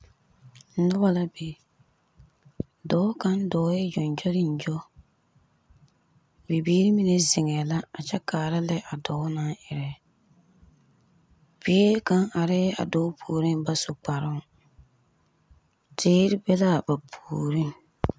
Noba la be. Dɔɔ kaŋ dɔɔɛ gyongyolingyo, bibiiri mine zeŋɛɛ la a kyɛ kaara lɛ a dɔɔ naŋ erɛ. Bie kaŋ arɛɛ a dɔɔ puoriŋ naŋ ba su kparoŋ. Teere be l'a ba puoriŋ.